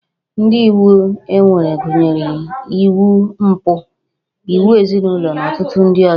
Ụdị iwu e nwere gụnyere iwu mpụ, iwu ezinụlọ na ọtụtụ ndị ọzọ